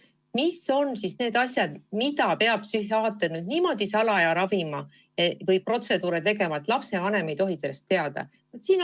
Mis on need asjad, mida psühhiaater peab niimoodi salaja ravima või mingisuguseid protseduure tegema, et lapsevanem ei tohi sellest teada?